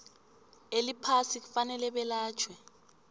eliphasi kufanele belatjhwe